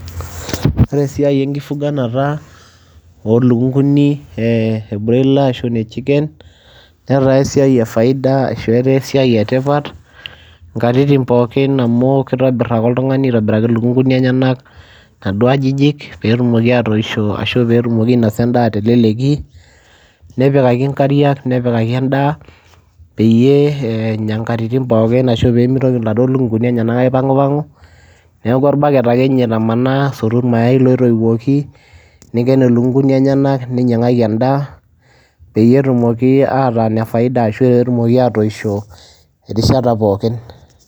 Ore esiai enkifuganata oo lukung'uni ee e broiler ashu ine chicken netaa esiai e faida ashu etaa esiai e tipat nkatitin pookin amu kitobir ake oltung'ani aitobiraki lukung'uni enyenak naduo ajijik peetumok aatoisho ashu peetumoki ainasa endaa te leleki, nepikaki nkariak, nepikaki endaa peyie eenya nkatitin pookin ashu pee mitoki naduo lukung'uni enyenak aipang'upang'u, neeku orbaket ake nye itamanaa asotu irmayai lootoiwuoki, niiken ilukung'uni enyenak, ninyang'aki endaa peyie etumoki ataa ine faida ashu peetumoki aatoisho erishata pookin.